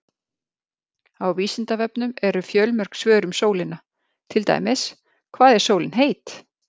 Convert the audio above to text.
Á Vísindavefnum eru fjölmörg svör um sólina, til dæmis: Hvað er sólin heit?